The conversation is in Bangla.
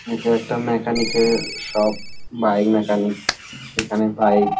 এটা একটা মেকানিক -এর শপ ভাই মেকানিক এখানে ভাই--